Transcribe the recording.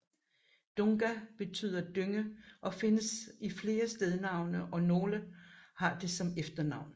Dunga betyder dynge og findes i flere stednavne og nogle har det som efternavn